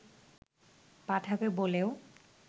পাঠাবে বলেও